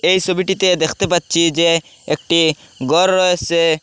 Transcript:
এই সবিটিতে দ্যাখতে পাচ্ছি যে একটি গর রয়েসে।